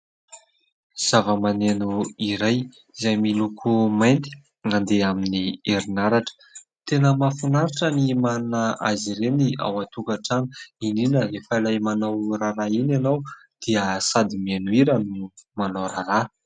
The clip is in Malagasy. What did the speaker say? Zava-maneno iray izay miloko mainty, mandeha amin'ny herinaratra. Tena mahafinaritra ny manana azy ireny ao an-tokantrano, indrindra ilay rehefa manao raharaha iny ianao dia sady mihira no manao raharaha.